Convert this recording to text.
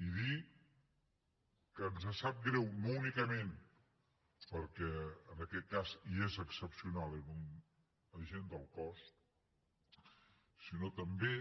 i dir que ens sap greu no únicament perquè en aquest cas i és excepcional era un agent del cos sinó també